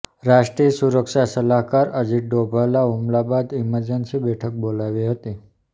રાષ્ટ્રીય સુરક્ષા સલાહકાર અજિત ડોભાલ હૂમલા બાદ ઇમરજન્સી બેઠક બોલાવી હતી